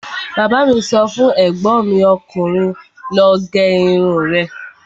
Bàbá mi sọ fún ègbọ́n mi ọkùnrin 'lọ gé irun rẹ'